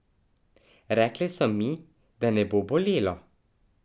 Rekle so mi, da ne bo bolelo.